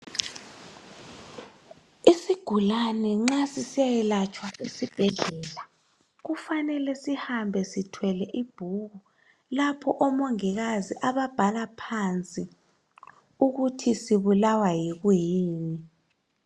Isigulane nxa sisiya yelatshwa esibhedlela kufanele sihambe sithwele ibhuku lapho omongilazi ababhala phansi ukuthi sibulawa yikuyini